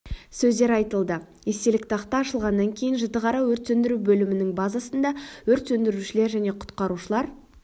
сөздер айтылды естелік тақта ашылғаннан кейін жітіқара өрт сөндіру бөлімінің базасында өрт сөндірушілер және құтқарушылар